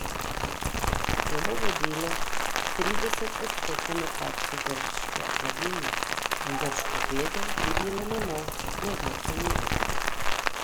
To bi vodilo k trideset odstotnemu padcu grške blaginje in grško bedo dvignilo na nov, neznosen nivo.